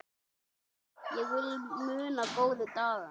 Ég vil muna góðu dagana.